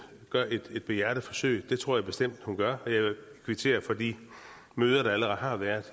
gør et behjertet forsøg for det tror jeg bestemt hun gør og jeg vil kvittere for de møder der allerede har været